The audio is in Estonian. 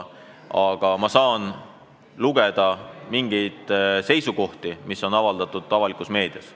Aga ma saan lugeda seisukohti, mis on avaldatud meedias.